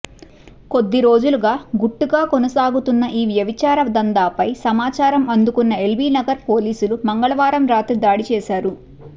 కొద్దిరోజులుగా గుట్టుగా కొనసాగుతున్న ఈ వ్యభిచార దందాపై సమాచారం అందుకున్న ఎల్బీనగర్ పోలీసులు మంగళవారం రాత్రి దాడి చేశారు